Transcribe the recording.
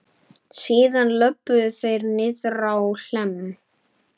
Síðan löbbuðu þeir niðrá Hlemm.